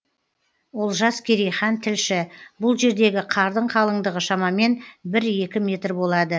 олжас керейхан тілші бұл жердегі қардың қалыңдығы шамамен бір екі метр болады